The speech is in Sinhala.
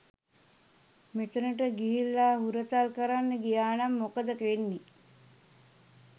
මෙතනට ගිහිල්ල හුරතල් කරන්න ගියානම් මොකද වෙන්නේ?